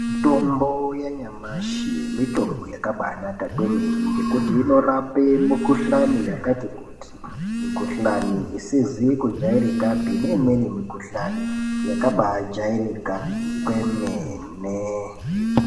Mitombo yanyamushi , mitombo yakabanaka kwemene ngekuti inorapa mukhuhlani yakati kuti . Mukhuhlani isizi kujairika neimweni mukhuhlani yakaba jairika kwemene.